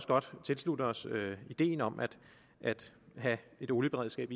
godt tilslutte os ideen om at have et olieberedskab